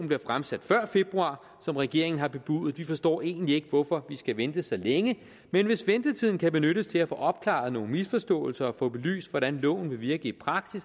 bliver fremsat før februar som regeringen har bebudet vi forstår egentlig ikke hvorfor vi skal vente så længe men hvis ventetiden kan benyttes til at få opklaret nogle misforståelser og få belyst hvordan loven vil virke i